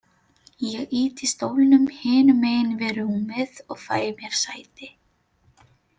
Ég ýti stólnum hinum megin við rúmið og fæ mér sæti.